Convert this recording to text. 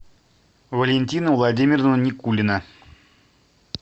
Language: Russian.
валентина владимировна никулина